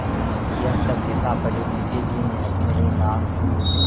यह सब लिखापढ़ी मुंशीजी ने अपने ही नाम की क्